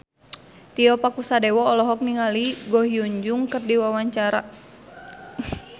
Tio Pakusadewo olohok ningali Ko Hyun Jung keur diwawancara